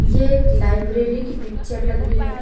ये एक लाइब्रेरी की पिक्चर लग रही है।